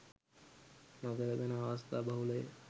නොගැලපෙන අවස්ථා බහුලය.